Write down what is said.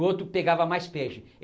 O outro pegava mais peixe.